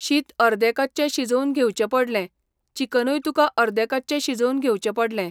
शीत अर्दे कच्चें शिजोवन घेवचें पडलें, चिकनूय तुका अर्दें कच्चें शिजोवन घेवचें पडलें.